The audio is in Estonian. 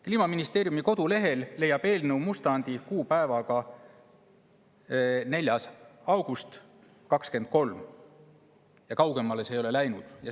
Kliimaministeeriumi kodulehel leiab eelnõu mustandi kuupäevaga 4. august 2023, kaugemale see ei ole jõudnud.